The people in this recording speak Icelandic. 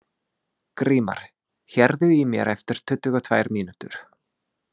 Grímar, heyrðu í mér eftir tuttugu og tvær mínútur.